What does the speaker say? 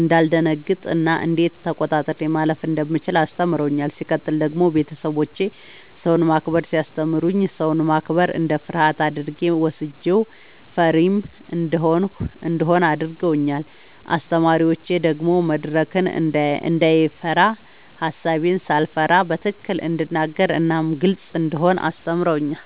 እንዳልደነግጥ እና እንዴት ተቆጣጥሬ ማለፍ እንደምችል አስተምረውኛል። ሲቀጥል ደግሞ ቤተሰቦቼ ሰውን ማክበርን ሲያስተምሩኝ ሰውን ማክበር እንደ ፍርሃት አድርጌ ወስጄው ፈሪም እንደሆን አድርገውኛል። አስተማሪዎቼ ደግሞ መድረክን እንዳይፈራ ሐሳቤን ሳልፈራ በትክክል እንድናገር እናም ግልጽ እንደሆን አስተምረውኛል።